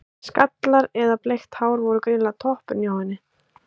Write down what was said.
Skallar eða bleikt hár voru greinilega toppurinn hjá henni.